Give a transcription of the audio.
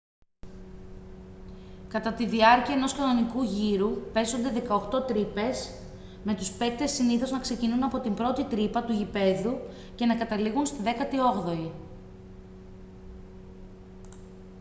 κατά τη διάρκεια ενός κανονικού γύρου παίζονται 18 τρύπες με τους παίκτες συνήθως να ξεκινούν από την πρώτη τρύπα του γηπέδου και να καταλήγουν στη δέκατη όγδοη